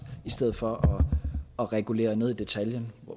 i stedet for at regulere ned i detaljen